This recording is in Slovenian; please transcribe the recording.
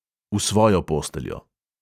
V svojo posteljo.